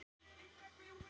Síðar sagði Davíð: